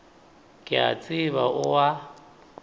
ke a tseba o a